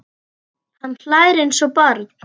Hann hlær eins og barn.